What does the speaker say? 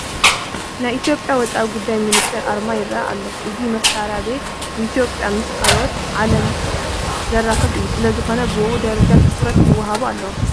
ናይ ኢትዮጵያ ወፃኢ ጉዳይ ሚኒስተር ኣርማ ይርአ ኣሎ፡፡ እዚ መስርያ ቤት ንኢትዮጵያ ምስ ካልእ ዓለም ዘራኽብ እዩ፡፡ ስለዝኾነ ብኡኡ ደረጃ ትኹረት ክወሃቦ ኣለዎ፡፡